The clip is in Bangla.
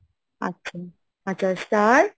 আচ্ছা, আচ্ছা, star,